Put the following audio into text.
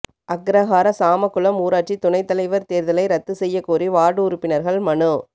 அக்ரஹார சாமக்குளம் ஊராட்சி துணைத் தலைவா் தோ்தலை ரத்து செய்யக் கோரி வாா்டு உறுப்பினா்கள் மனு